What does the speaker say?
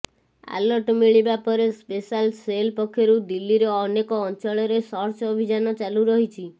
alert ମିଳିବା ପରେ special cell ପକ୍ଷରୁ ଦିଲ୍ଲୀର ଅନେକ ଅଞ୍ଚଳରେ ସର୍ଚ୍ଚ ଅଭିଯାନ ଚାଲୁ ରହିଛି